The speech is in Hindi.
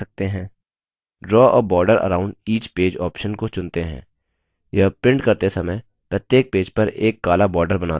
draw a border around each page option को चुनते हैं यह प्रिंट करते समय प्रत्येक पेज पर एक काला border बनाता है